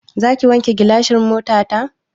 Zaki wanke gilasan motata?